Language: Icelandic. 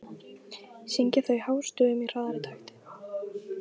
Syngja þau hástöfum í hraðari takti.